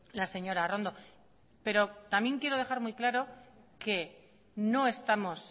la señora arrondo pero también quiero dejar muy claro que no estamos